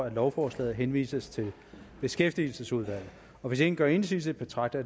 at lovforslaget henvises til beskæftigelsesudvalget hvis ingen gør indsigelse betragter